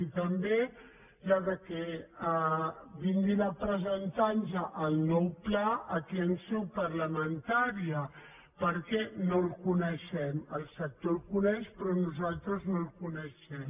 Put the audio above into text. i també que vinguin a presentar nos el nou pla aquí en seu parlamentària perquè no el coneixem el sector el coneix però nosaltres no el coneixem